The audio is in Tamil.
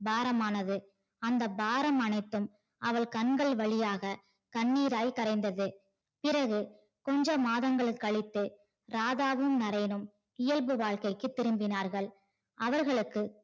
பாரமானது அந்த பாரம் அனைத்தும் அவள் கண்கள் வழியாக கண்ணீராய் கரைந்தது. பிறகு கொஞ்சம் மாதங்கள் கழித்து ராதாவும் நரேனும் இயல்பு வாழ்க்கைக்கு திரும்பினார்கள். அவர்களுக்கு